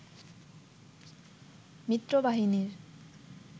মিত্র বাহিনীর